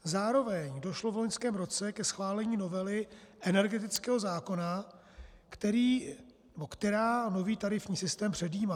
Zároveň došlo v loňském roce ke schválení novely energetického zákona, která nový tarifní systém předjímá.